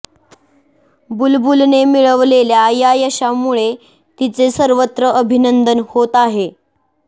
बुलबुलने मिळवलेल्या या यशामुळे तिचे सर्वत्र अभिनंदन होत आहे